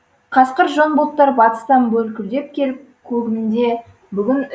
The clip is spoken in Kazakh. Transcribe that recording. қасқыр жон бұлттар батыстан бүлкүлдеп келіп көгімде бүгін